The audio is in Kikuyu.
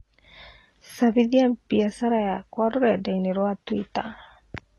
cambĩthĩa bĩacara yakwa rũredaĩnĩ rwa Twitter